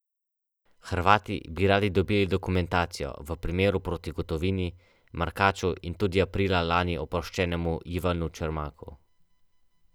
Skoraj sto restavracij, kavarn in slaščičarn v prestolnici in osrednjeslovenski regiji ter dvesto trgovin v mestnem jedru Ljubljane se je letos potegovalo za znak ljubljanske kakovosti.